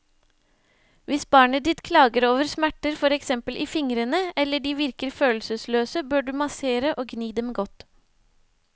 Hvis barnet ditt klager over smerter for eksempel i fingrene, eller de virker følelsesløse, bør du massere og gni dem godt.